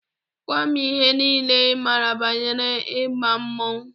Gwa m ihe niile ị maara banyere ịma mmọnwụ!